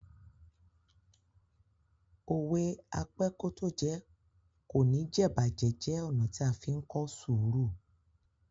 Òwe "Apẹ́kótójẹ kò ní jẹ̀'bàjẹ́" jẹ́ ọ̀nà tí a fí ń kọ́ sùúrù.